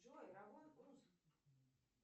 джой равон уз